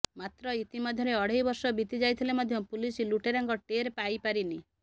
ମାତ୍ର ଇତିମଧ୍ୟରେ ଅଢ଼େଇବର୍ଷ ବିତି ଯାଇଥିଲେ ମଧ୍ୟ ପୁଲିସ ଲୁଟେରାଙ୍କ ଟେର ପାଇପାରିନି